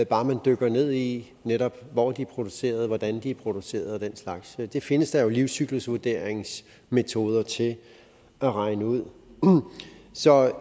bare man dykker ned i hvor de er produceret hvordan de er produceret og den slags det findes der jo livscyklusvurderingsmetoder til at regne ud så